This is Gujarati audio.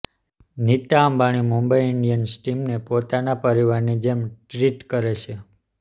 નીતા અંબાણી મુંબઈ ઇન્ડિયન્સ ટીમને પોતાના પરિવારની જેમ ટ્રીટ કરે છે